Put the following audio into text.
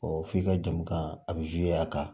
f'i ka jamu kan a bɛ a kan